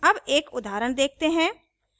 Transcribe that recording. अब एक उदाहरण देखते हैं